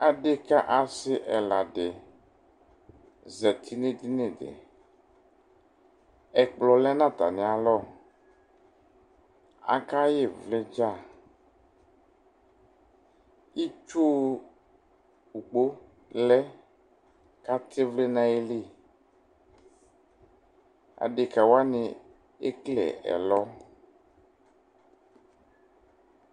Adekǝ asɩ ɛla dɩ zati nʋ edini dɩ Ɛkplɔ lɛ nʋ atamɩalɔ Akaɣa ɩvlɩ dza Itsu ukpo lɛ kʋ atɛ ɩvlɩ nʋ ayili Adekǝ wanɩ ekele ɛlɔ